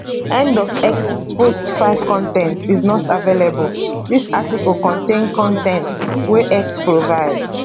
end of x post 5 con ten t is not available dis article contain con ten t wey x provide